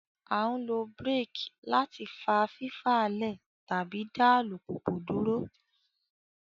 A nlo brake láti fa fifalẹ tàbí dá alupupu dúró